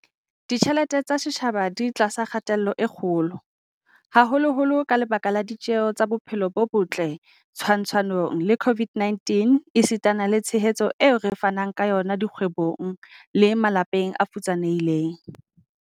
Ditjhelete tsa setjhaba di tlasa kgatello e kgolo, haholoholo ka lebaka la ditjeho tsa bophelo bo botle twantshanong le COVID-19 esitana le tshehetso eo re fanang ka yona dikgwebong le malapeng a futsanehileng.